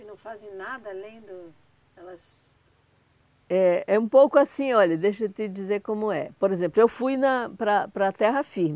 E não fazem nada além do... Elas... É, é um pouco assim, olha, deixa eu te dizer como é. Por exemplo, eu fui na para para a terra firme.